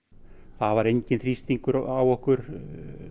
það var enginn þrýstingur á okkur